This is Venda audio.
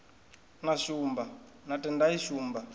na shumba na tendai shumba